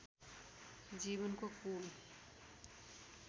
जीवनको कूल